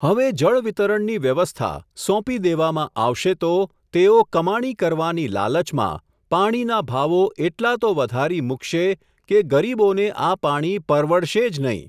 હવે જળવિતરણની વ્યવસ્થા, સોંપી દેવામાં આવશે તો, તેઓ કમાણી કરવાની લાલચમાં, પાણીના ભાવો એટલા તો વધારી મૂકશે, કે ગરીબોને આ પાણી પરવડશે જ નહીં.